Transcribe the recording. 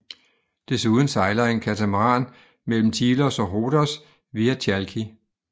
Desuden sejler en katamaran mellem Tilos og Rhodos via Chalki